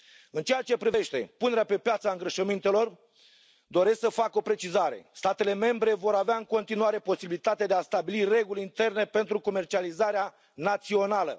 În ceea ce privește punerea pe piață a îngrășămintelor, doresc să fac o precizare statele membre vor avea în continuare posibilitatea de a stabili reguli interne pentru comercializarea națională.